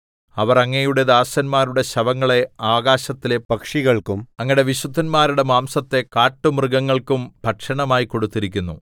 അവർ അങ്ങയുടെ ദാസന്മാരുടെ ശവങ്ങളെ ആകാശത്തിലെ പക്ഷികൾക്കും അങ്ങയുടെ വിശുദ്ധന്മാരുടെ മാംസത്തെ കാട്ടുമൃഗങ്ങൾക്കും ഭക്ഷണമായി കൊടുത്തിരിക്കുന്നു